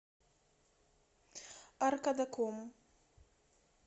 аркадаком